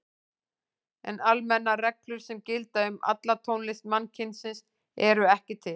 En almennar reglur sem gildi um alla tónlist mannkynsins eru ekki til.